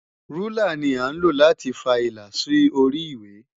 Rúlà ni à ń lò láti fa ilà sí orí ìwé.